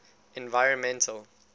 environmental